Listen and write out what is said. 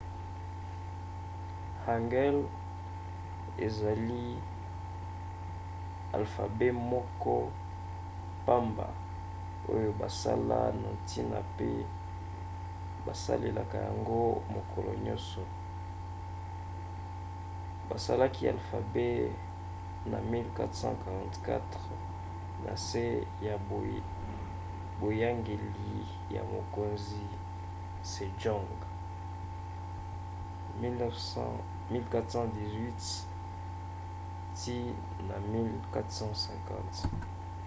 hangeul ezali alfabe moko pamba oyo basala na ntina mpe basalelaka yango mokolo nyonso. basalaki alfabe na 1444 na nse ya boyangeli ya mokonzi sejong 1418 – 1450